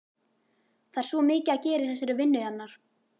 Það er svo mikið að gera í þessari vinnu hennar.